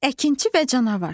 Əkinçi və Canavar.